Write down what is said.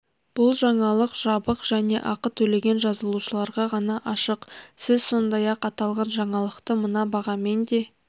бұл жаңалық жабық және ақы төлеген жазылушыларға ғана ашық сіз сондай-ақ аталған жаңалықты мына бағамен де